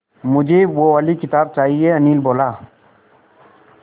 मुझे वो वाली किताब चाहिए अनिल बोला